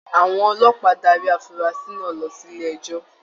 Àwọn ọlọ́pàá darí afurasi náà lọ sílé ẹjọ.